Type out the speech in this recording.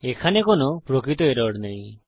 এখানে কোনো প্রকৃত এরর নেই